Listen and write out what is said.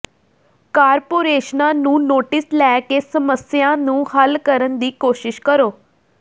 ਕਾਰਪੋਰੇਸ਼ਨਾਂ ਨੂੰ ਨੋਟਿਸ ਲੈ ਕੇ ਸਮੱਸਿਆ ਨੂੰ ਹੱਲ ਕਰਨ ਦੀ ਕੋਸ਼ਿਸ਼ ਕਰੋ